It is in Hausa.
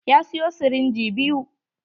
Ya siyo sirinji biyu.